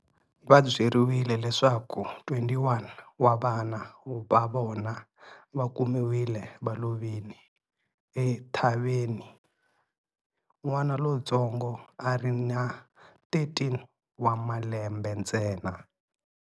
Va byeriwile leswaku 21 wa vana va vona va kumiwile va lovile, ethavheni. N'wana lontsongo a ri na 13 wa malembe ntsena.